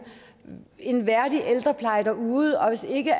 en værdig ældrepleje derude og hvis ikke